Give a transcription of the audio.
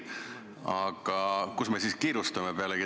Aga kuhu me siis kiirustame?